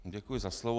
Děkuji za slovo.